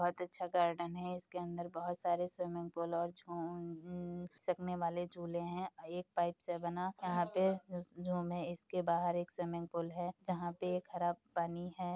बहोत अच्छा गार्डन है। इसके अंदर बहोत सारे स्विमिंग पूल और छोंन न घिसखने वाले झूले हैं। एक पाइप से बना यहाँ पे जो इसके बाहर एक स्विमिंग पूल है। जहाँ पे एक हरा पानी है।